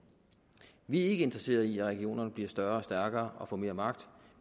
vi er ikke interesseret i at regionerne bliver større og stærkere og får mere magt